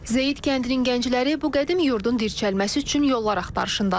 Zeyid kəndinin gəncləri bu qədim yurdun dirçəlməsi üçün yollar axtarışındadırlar.